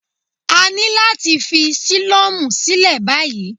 A ní láti fi sílọ́mù sílẹ̀ báyìí.